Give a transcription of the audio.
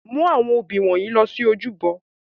Mu awọn obí wọnyi lọ si ojúbọ!